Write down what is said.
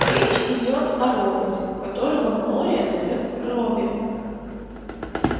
речь идёт о роботе которого глория зовёт робби